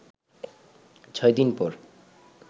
ছয় দিন পর